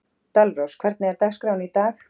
Dalrós, hvernig er dagskráin í dag?